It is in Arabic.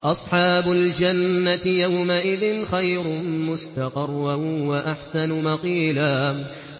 أَصْحَابُ الْجَنَّةِ يَوْمَئِذٍ خَيْرٌ مُّسْتَقَرًّا وَأَحْسَنُ مَقِيلًا